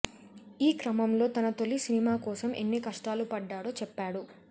ఈ క్రమంలో తన తోలి సినిమాకోసం ఎన్ని కష్టాలు పడ్డాడో చెప్పాడు